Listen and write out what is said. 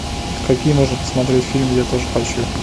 какие можно посмотреть фильм я тоже хочу